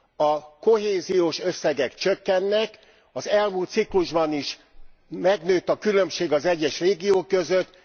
A kohéziós összegek csökkennek, az elmúlt ciklusban is nőtt a különbség az egyes régiók között.